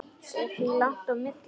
Er því langt á milli.